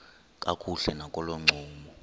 kakuhle nakolo ncumo